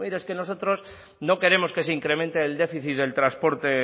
es que nosotros no queremos que se incremente el déficit del transporte